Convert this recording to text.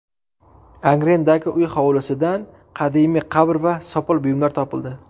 Angrendagi uy hovlisidan qadimiy qabr va sopol buyumlar topildi.